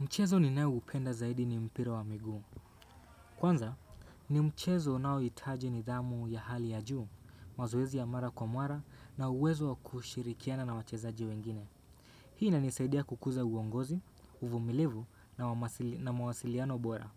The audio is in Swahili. Mchezo ninaoupenda zaidi ni mpira wa miguu. Kwanza, ni mchezo unaohitaji nidhamu ya hali ya juu, mazoezi ya mara kwa mara na uwezo wa kushirikiana na wachezaji wengine. Hii inanisaidia kukuza uongozi, uvumilivu na mawasiliano bora.